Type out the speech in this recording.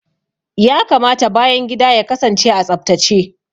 Ya kamata bayan gida ya kasance a tsaftace.